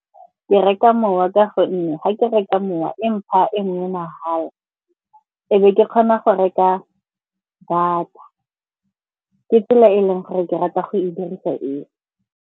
Ke reka mowa ka gonne ga ke reka mowa e mpha e nngwe mahala, e be ke kgona go reka data. Ke tsela e leng gore ke rata go e dirisa eo.